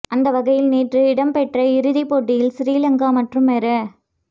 அந்த வகையில் நேற்று இடம்பெற்ற இறுதிப் போட்டியில் சிறிலங்கா மற்றும் மேற